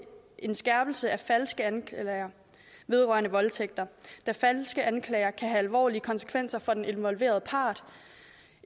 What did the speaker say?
en skærpelse af falske anklager om voldtægt da falske anklager kan have alvorlige konsekvenser for den involverede part